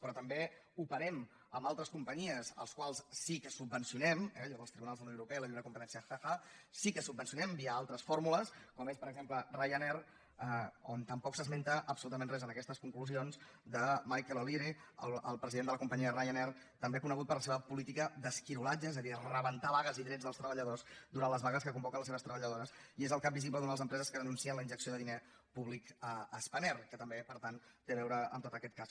però també operem amb altres companyies que sí que subvencionem eh allò dels tribunals de la unió europea i la lliure competència ha ha sí que subvencionem via altres fórmules com és per exemple ryanair i tampoc s’esmenta absolutament res en aquestes conclusions de michael o’leary el president de la companyia de ryanair també conegut per la seva política d’esquirolatge és a dir rebentar vagues i drets dels treballadors durant les vagues que convoquen les seves treballadores i és el cap visible d’una de les empreses que denuncien la injecció de diner públic a spanair que també per tant té a veure amb tot aquest cas